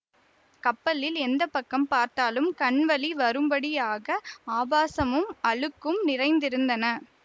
கப்பலில் எந்த பக்கம் பார்த்தாலும் கண்வலி வரும்படியாக ஆபாசமும் அழுக்கும் நிறைந்திருந்தன